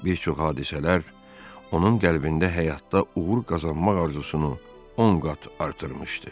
Bir çox hadisələr onun qəlbində həyatda uğur qazanmaq arzusunu 10 qat artırmışdı.